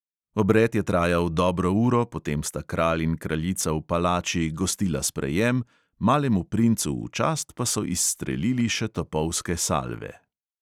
Obred je trajal dobro uro, potem sta kralj in kraljica v palači gostila sprejem, malemu princu v čast pa so izstrelili še topovske salve.